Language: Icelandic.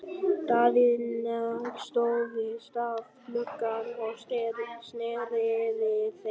Daðína stóð við stafngluggann og sneri við þeim baki.